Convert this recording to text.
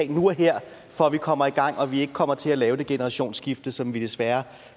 nu og her for at vi kommer i gang og vi ikke kommer til at lave det generationsskifte som vi desværre